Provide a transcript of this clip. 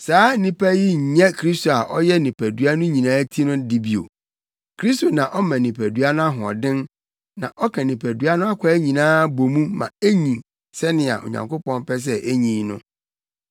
Saa nnipa yi nyɛ Kristo a ɔyɛ nipadua no nyinaa ti no de bio. Kristo na ɔma nipadua no ahoɔden na ɔka nipadua no akwaa nyinaa bɔ mu ma enyin sɛnea Onyankopɔn pɛ sɛ enyin no.